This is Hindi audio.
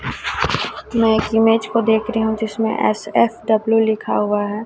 मैं एक इमेज को देख रही हूं जिसमें एस_एफ_डब्ल्यू लिखा हुआ है।